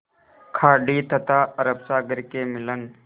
खाड़ी तथा अरब सागर के मिलन